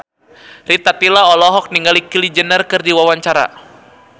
Rita Tila olohok ningali Kylie Jenner keur diwawancara